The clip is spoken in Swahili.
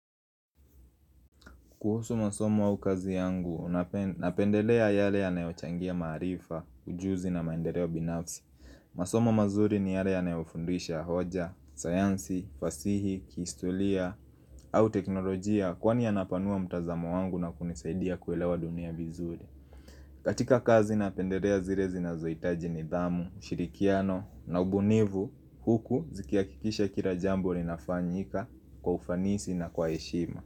Kuhusu masomo au kazi yangu, napendelea yale yanayochangia maarifa, ujuzi na maendeleo binafsi. Masomo mazuri ni yale yanayofundisha hoja, sayansi, fasihi, kihistoria au teknolojia kwani yanapanua mtazamo wangu na kunisaidia kuelewa dunia bizuri. Katika kazi napendelea zile zinazoitaji nidhamu, ushirikiano na ubunivu, huku zikia kikisha kila jambo linafanyika kwa ufanisi na kwa heshima.